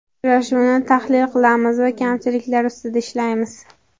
Uchrashuvni tahlil qilamiz va kamchiliklar ustida ishlaymiz.